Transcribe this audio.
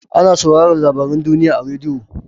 Ana sauraran labaran duniya a radiyo.